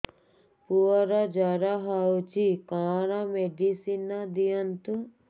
ପୁଅର ଜର ହଉଛି କଣ ମେଡିସିନ ଦିଅନ୍ତୁ